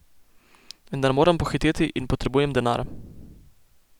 Vendar moram pohiteti in potrebujem denar.